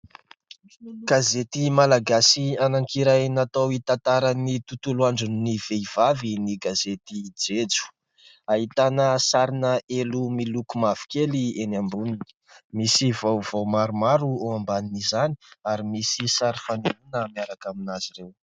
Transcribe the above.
Gazety malagasy anankiray natao hitantaran'ny tontolo andron'ny vehivavy ny gazety jejo, ahitana sarina elo miloko mavokely eny amboniny, misy vaovao maromaro eo amban' izany ary misy sary fanehoana miaraka aminazy ireo.